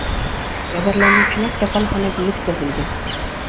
Jabrlanuvchilar kasalxonaga yetkazilgan.